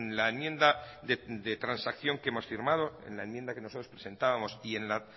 la enmienda de transacción que hemos firmado en la enmienda que nosotros presentábamos y en la